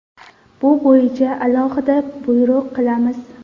Bu bo‘yicha alohida buyruq qilamiz.